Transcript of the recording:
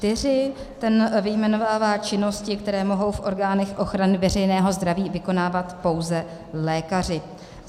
Ten vyjmenovává činnosti, které mohou v orgánech ochrany veřejného zdraví vykonávat pouze lékaři.